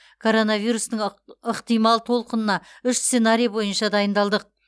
коронавирустың ық ықтимал толқынына үш сценарий бойынша дайындалдық